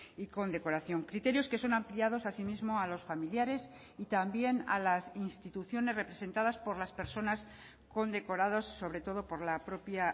y condecoración criterios que son ampliados asimismo a los familiares y también a las instituciones representadas por las personas condecorados sobre todo por la propia